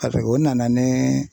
o nana ni.